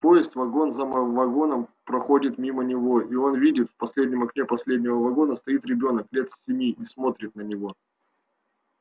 поезд вагон за вагоном проходит мимо него и он видит в последнем окне последнего вагона стоит ребёнок лет семи и смотрит на него